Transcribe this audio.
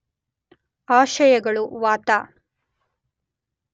ಆಶಯಗಳು, ವಾತ